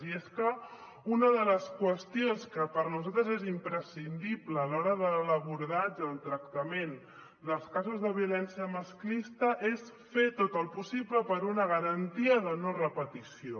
i és que una de les qüestions que per nosaltres és imprescindible a l’hora de l’abordatge del tractament dels casos de violència masclista és fer tot el possible per a una garantia de no repetició